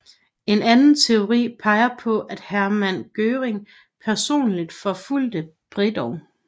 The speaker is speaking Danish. En anden teori peger på at Hermann Göring personlig forfulgte Bredow